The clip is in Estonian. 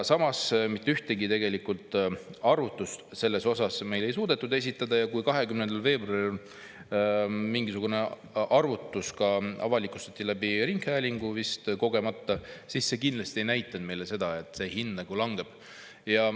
Samas, tegelikult mitte ühtegi arvutust selle kohta meile ei suudetud esitada ja kui 20. veebruaril mingisugune arvutus avalikustati ringhäälingu kaudu – vist kogemata –, siis see kindlasti ei näidanud meile seda, et hind langeb.